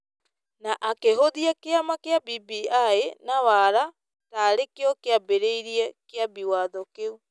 na akĩhũthia kĩama kĩa BBI na wara ta arĩ kĩo kĩambĩrĩirie Kĩambi Watho kĩu.